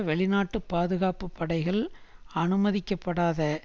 வெளிநாட்டுப் பாதுகாப்பு படைகள் அனுமதிக்கப்படாத